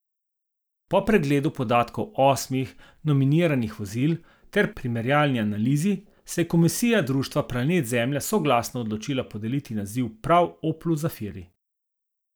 Po pregledu podatkov osmih nominiranih vozil ter primerjalni analizi, se je komisija društva Planet Zemlja soglasno odločila podeliti naziv prav oplu zafiri.